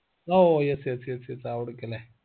oh yes yes yes അവടക്കെന്നെ